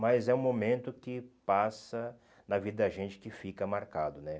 Mas é um momento que passa na vida da gente que fica marcado, né?